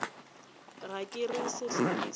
ga ke re sehlare se